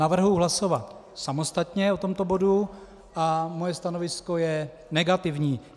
Navrhuji hlasovat samostatně o tomto bodu a moje stanovisko je negativní.